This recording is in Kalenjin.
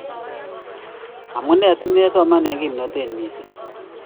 amunee simesoman eng kimnatet mising'